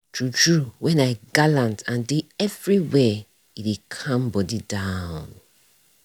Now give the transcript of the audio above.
true true when i galant and dey everywhere e dey calm body down.